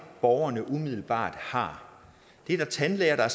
borgerne umiddelbart har det er der tandlæger der